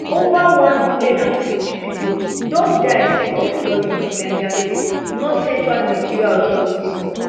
ova one hundred and fifty pipo don die sake of flooding for niger state northcentral nigeria authorities tok